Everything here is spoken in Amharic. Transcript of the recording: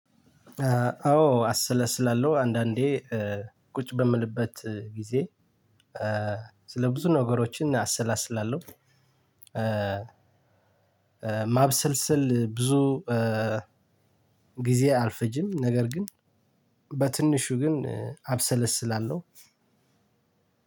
አዎ አሰለስላለሁ አንዳንዴ ቁጭ በምልበት ጊዜ ስለ ብዙ ነገሮችን አሰላስላለሁ። ማብሰልሰል ብዙ ጊዜ አልፈጅም ነገር ግን በትንሹ ግን አብሰለስላለው።